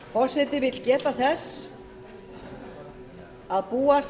forseti vill geta þess að búast